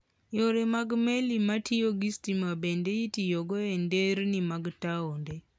Yore mag meli matiyo gi stima bende itiyogo e nderni mag taonde.